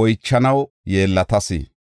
oychanaw yeellatas.